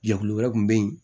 Jɛkulu wɛrɛ kun be yen